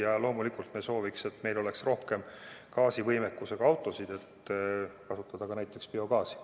Ja loomulikult me soovime, et meil oleks rohkem gaasivõimekusega autosid, et kasutada ka näiteks biogaasi.